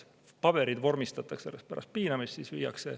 Paberid vormistatakse alles pärast piinamist.